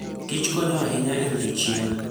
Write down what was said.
Kich konyo ahinya e rito chiemo.